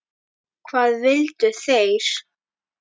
Hvað vildu þeir?